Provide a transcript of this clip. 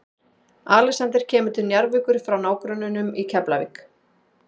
Alexander kemur til Njarðvíkur frá nágrönnunum í Keflavík.